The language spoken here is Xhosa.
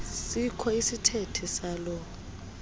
sikho isithethe saloo